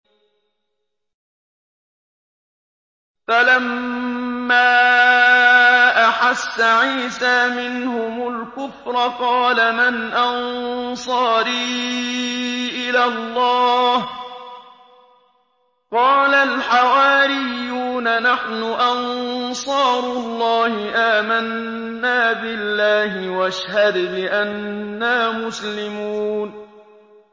۞ فَلَمَّا أَحَسَّ عِيسَىٰ مِنْهُمُ الْكُفْرَ قَالَ مَنْ أَنصَارِي إِلَى اللَّهِ ۖ قَالَ الْحَوَارِيُّونَ نَحْنُ أَنصَارُ اللَّهِ آمَنَّا بِاللَّهِ وَاشْهَدْ بِأَنَّا مُسْلِمُونَ